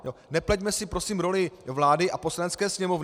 Nepleťme si prosím roli vlády a Poslanecké sněmovny.